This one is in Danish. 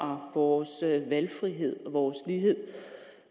vores valgfrihed vores lighed